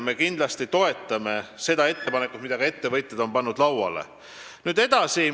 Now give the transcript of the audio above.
Me kindlasti toetame seda ettepanekut, mille ka ettevõtjad on lauale pannud.